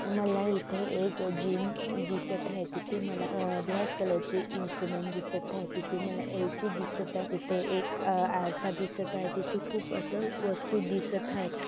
मला इथे एक जिम दिसत आहे मला ब्लॅक कलर चे इन्स्ट्रुमेंट दिसत आहेत तिथे मला एसी दीसत आहे तिथे एक आरसा दिसत आहे तिथे खूप अस वस्तु दिसत आहेत.